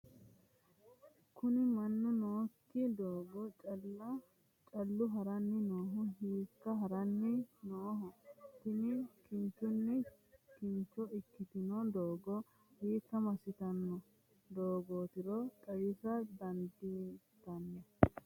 kuni mannu nookki doogo callu haranni noohu hiikka haranni nooho? tini kinchunni kincho ikkitino doogo hiikka massitanno doogootiro xawisa dandaatto?